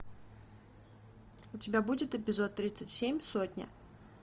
у тебя будет эпизод тридцать семь сотня